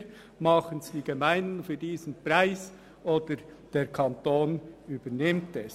Nach unserer Auffassung machen es entweder die Gemeinden für diesen Preis, oder der Kanton übernimmt es.